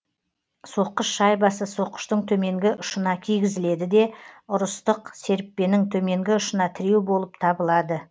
соққыш шайбасы соққыштың төменгі ұшына кигізіледі де ұрыстық серіппенің төменгі ұшына тіреу болып табылады